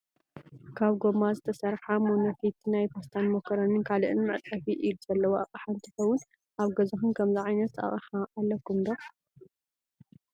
ካብ ጎማ ዝተሰረሓ ሞኒፊት ናይ ፓስታን፣ ማኮሬኒን ካልእን መፅፈፊ ኢድ ዘለዎ ኣቅሓ እንትከውን ኣብ ገዛኩም ከምዚ ዓይነት ኣቅሓ ኣለኩም ዶ ?